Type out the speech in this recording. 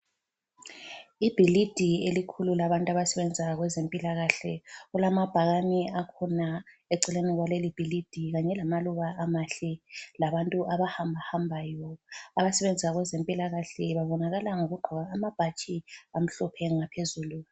Ibhilidi elikhulu labantu abasebenza kwezempilakahle, kulamabhakane akhona eceleni kwaleli bhilidi, kanye lamaluba amahle labantu abahambahambayo. Abasebenza kwezempilakahle, babonakala ngokugqoka amabhatshi amhlophe ngaphezulu.